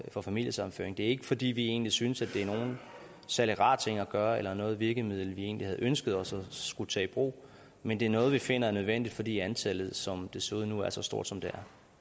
for familiesammenføring det er ikke fordi vi egentlig synes at det er nogen særlig rar ting at gøre eller at noget virkemiddel vi egentlig havde ønsket os at skulle tage i brug men det er noget vi finder er nødvendigt fordi antallet som det ser ud nu er så stort som det